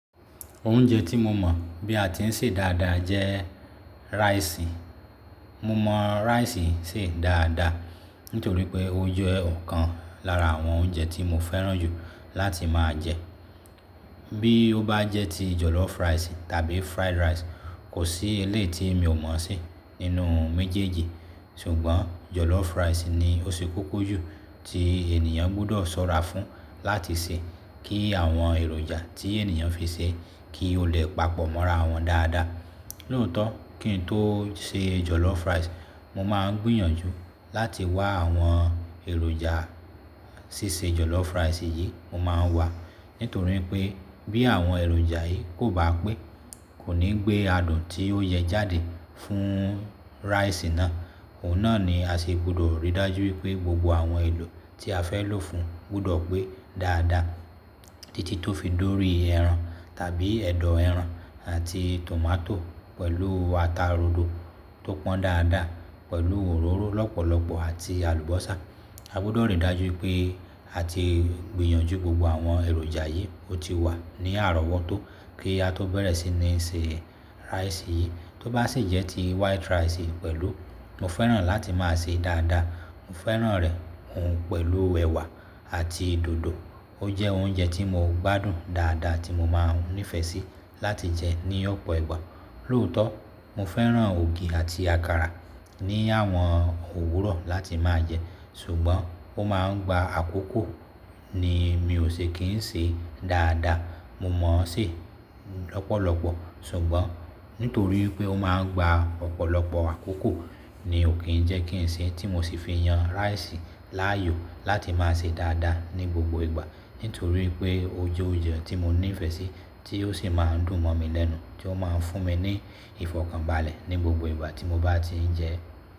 Oúnjẹ tí mo mọ̀ bí a ti ń sè dáadáa jẹ́ rice. Mo mọ̀ rice sè dáadáa nítorí pé ó jẹ́ ọ̀kan lára àwọn oúnjẹ tí mo fẹ́ràn jù láti máa jẹ. Bí ó bá jẹ́ ti jollof rice tàbí fried rice, kò sí eleyii tí mi ò mọ̀ se nínú méjèèjì. Ṣùgbọ́n jollof rice ni ó ṣe kókó jù tí ènìyàn gbọ́dọ̀ ṣọ́ra fún láti sè kí àwọn èròjà tí ènìyàn fi sè é kí ó le papọ̀ mọ́ra wọn dáadáa. Lóòótọ́ kí n tó se jollof rice, mo máa ń gbìyànjú láti wá àwọn èròjà ṣíṣe jollof rice yìí mo máa ń wá. Nítorí pé bí àwọn èròjà yìí kò bá pé, kò ní gbé adùn tí ó yẹ jáde fún rice náà. Òun náà ni a ṣe gbọ́dọ̀ ríi dájú wipé gbogbo àwọn èlò tí a fẹ́ lò fún gbọ́dọ̀ pé dáadáa títí tó fi dori ẹran tàbí ẹ̀dọ̀ ẹran àti tomato pẹ̀lú ata rodo tó pọ́n dáadáa pẹ̀lú òróró lọ́pọ̀lọpọ̀ àti àlùbọ́sà. A gbọ́dọ̀ ríi dájú pé a ti gbìyànjú gbogbo àwọn èròjà yìí ó ti wà ní àrọ́wọ́tó kí a tó bẹ̀rẹ̀ sí ní se rice yìí. Tó bá sì jẹ́ ti white rice pẹ̀lú, mo fẹ́ràn láti máa sè é dáadáa. Mo fẹ́ràn rẹ̀ òun pẹ̀lú ẹ̀wà àti dòdò. Ó jẹ́ oúnjẹ tí mo gbádùn dáadáa tí mo máa ń nífẹ̀ẹ́ sí láti jẹ ní ọ̀pọ̀ ìgbà. Lóòótọ́ mo fẹ́ràn ògì àti àkàrà ní àwọn òwúrọ̀ láti máa jẹ. Ṣùgbọ́n ó máa ń gba àkókò ni mi ò ṣe kì ń ṣe dáadáa. Mo mọ̀ ọ́n sè lọ́pọ̀lọpọ̀, ṣùgbọ́n nítorí pé ó máa ń gba ọ̀pọ̀lọpọ̀ àkókò ni ò kí ń jẹ́ kí n sè é tí mo sì fi yan rice láàyò láti máa sè dáadáa ní gbogbo ìgbà. Nítorí pé ó jẹ́ oúnjẹ tí mo nífẹ̀ẹ́ sí tí ó sì máa ń dùn mọ̀ mi lẹ́nu tí ó máa ń fún mi ní ìfọ̀kànbalẹ̀ ní gbogbo ìgbà tí mo bá ti ń jẹ ẹ́.